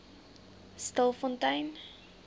stilfontein